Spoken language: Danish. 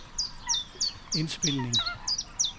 indspilning